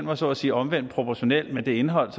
var så at sige omvendt proportional med det indhold